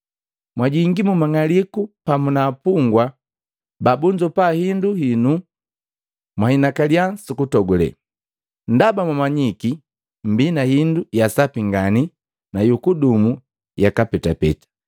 Mwajongi mu mang'aliku pamu na apungwa pa bunzopa hindu hinu mwahinakalia su kutogule, ndaba mwamanyiki mmbii na hindu ya sapi ngani nu yu kudumu yaka petapeta.